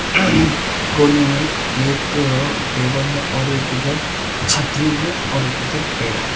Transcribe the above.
कोने में एक टेबल है और एक इधर छतरी है और एक इधर पेड़ है।